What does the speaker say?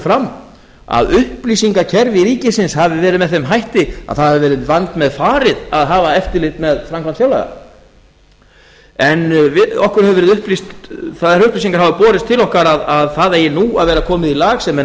fram að upplýsingakerfi ríkisins hafi verið með þeim hætti að það hafi verið vandmeðfarið að hafa eftirlit með framkvæmd fjárlaga en þær upplýsingar hafa borist til okkar að það eigi nú að vera komið í lag sem er nú